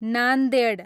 Nanded